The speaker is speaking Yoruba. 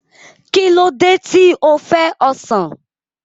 Kí ló dé tí o fẹ́ ọsàn?